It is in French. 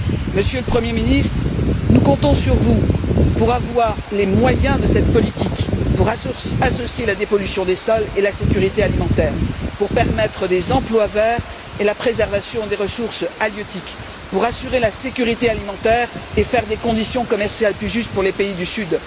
Monsieur le Premier ministre, nous comptons sur vous pour avoir les moyens de cette politique, pour associer la dépollution des sols et la sécurité alimentaire, pour permettre des emplois verts et la préservation des ressources halieutiques, pour assurer la sécurité alimentaire et créer des conditions commerciales plus justes pour les pays du Sud.